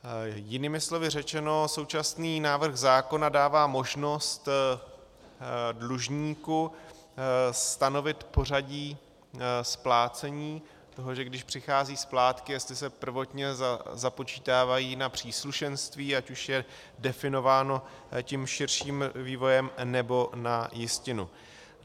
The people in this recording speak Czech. Jinými slovy řečeno, současný návrh zákona dává možnost dlužníku stanovit pořadí splácení toho, že když přichází splátky, jestli se prvotně započítávají na příslušenství, ať už je definováno tím širším vývojem, nebo na jistinu.